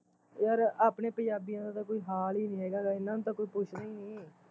ਯਾਰ ਆਪਣੇ ਪੰਜਾਬੀਆ ਦਾ ਤਾਂ ਕੋਈ ਹਾਲ ਈ ਨੀ ਹੈਗਾ ਲੈ ਇਹਨਾ ਨੂੰ ਤਾਂ ਕੋਈ ਪੁੱਛਦਾ ਈ ਨੀ